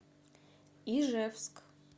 ижевск